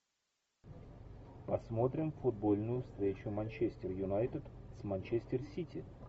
посмотрим футбольную встречу манчестер юнайтед с манчестер сити